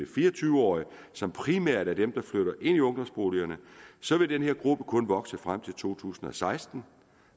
fire og tyve årige som primært er dem der flytter ind i ungdomsboligerne så vil den her gruppe kun vokse frem til to tusind og seksten